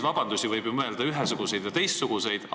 Vabandusi võib ju välja mõelda ühesuguseid või teistsuguseid.